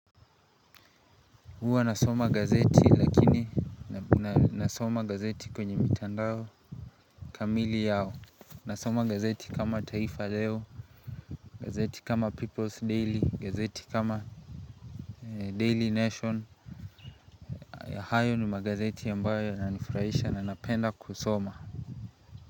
Huwa nasoma gazeti lakini nasoma gazeti kwenye mitandao kamili yao nasoma gazeti kama taifa leo, gazeti kama People's Daily, gazeti kama Daily Nation hayo ni magazeti yambayo yanani furahisha na napenda kusoma.